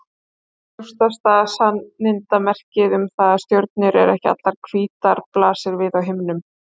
Augljósasta sannindamerkið um það að stjörnur eru ekki allar hvítar blasir við á himninum.